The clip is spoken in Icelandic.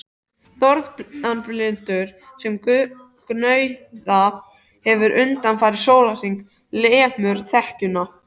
Norðanbylurinn sem gnauðað hefur undanfarinn sólarhring lemur þekjuna.